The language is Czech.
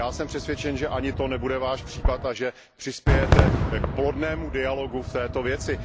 Já jsem přesvědčen, že ani to nebude Váš případ a že přispějete k plodnému dialogu v této věci.